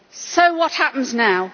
So what happens now?